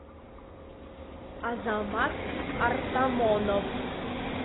азамат артамонов